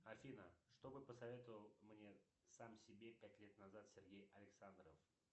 афина чтобы посоветовал мне сам себе пять лет назад сергей александров